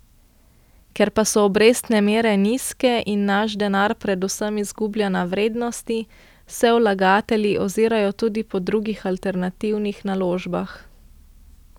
Ker pa so obrestne mere nizke in naš denar predvsem izgublja na vrednosti, se vlagatelji ozirajo tudi po drugih alternativnih naložbah.